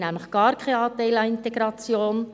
Sie haben nämlich gar keinen Anteil an Integration.